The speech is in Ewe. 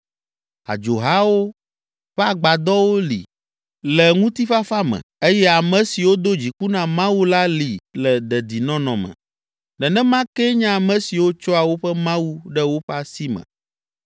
Adzohawo ƒe agbadɔwo li le ŋutifafa me eye ame siwo do dziku na Mawu la li le dedinɔnɔ me. Nenema kee nye ame siwo tsɔa woƒe mawu ɖe woƒe asi me.